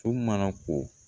So mana ko